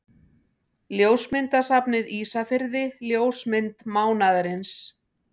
Ljósmyndasafnið Ísafirði Ljósmynd mánaðarins.